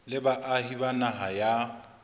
le baahi ba naha ya